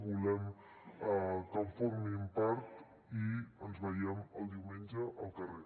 volem que en formin part i ens veiem el diumenge al carrer